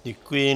Děkuji.